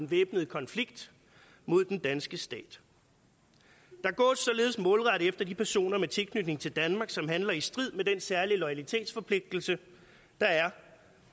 væbnet konflikt mod den danske stat der gås således målrettet efter de personer med tilknytning til danmark som handler i strid med den særlige loyalitetsforpligtelse der er